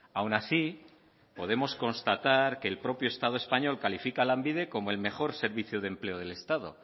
aun así podemos constatar que el propio estado español califica a lanbide como el mejor servicio de empleo del estado